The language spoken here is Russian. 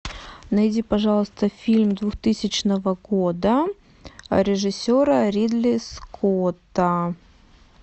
найди пожалуйста фильм двухтысячного года режиссера ридли скотта